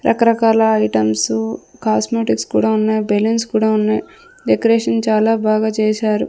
రకరకాల items cosmetics కూడా ఉన్నాయి బెలూన్స్ కూడా ఉన్నాయి డెకరేషన్ చాలా బాగా చేశారు.